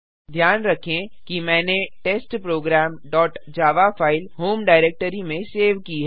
ध्यान रखें कि मैंने test program dot Java file home directory में सेव की है